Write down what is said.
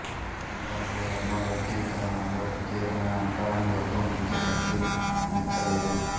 గ్రంథాలలో వర్ణ వర్గీకరణలో ప్రత్యేకమైన అంటరాని వర్గం గురించి ప్రస్తావించలేదు